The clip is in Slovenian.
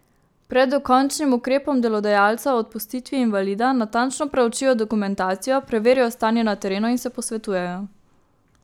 Pred dokončnim ukrepom delodajalca o odpustitvi invalida natančno preučijo dokumentacijo, preverijo stanje na terenu in se posvetujejo.